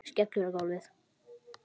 Skellur á gólfið.